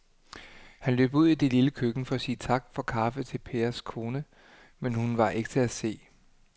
Han løb ud i det lille køkken for at sige tak for kaffe til Pers kone, men hun var ikke til at se.